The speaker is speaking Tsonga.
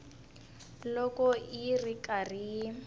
loko yi ri karhi yi